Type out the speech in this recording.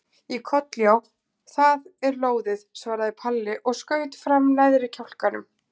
Í koll já, það er lóðið, svaraði Palli og skaut fram neðri kjálkanum.